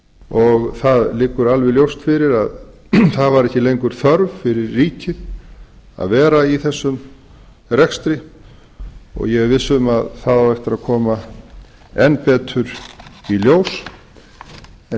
og það liggur alveg ljóst fyrir að það var ekki lengur þörf fyrir ríkið að vera í þessum rekstri og ég er viss um að það á eftir að koma enn betur í ljós en